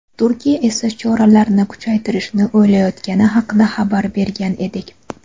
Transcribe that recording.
Turkiya esa choralarni kuchaytirishni o‘ylayotgani haqida xabar bergan edik.